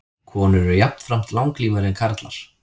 Konur eru jafnframt langlífari en karlar.